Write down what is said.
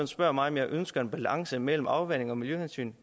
spørger mig om jeg ønsker en balance mellem afvanding og miljøhensyn